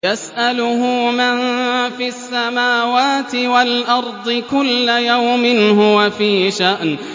يَسْأَلُهُ مَن فِي السَّمَاوَاتِ وَالْأَرْضِ ۚ كُلَّ يَوْمٍ هُوَ فِي شَأْنٍ